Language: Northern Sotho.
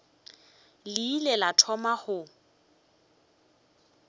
le ile la thoma go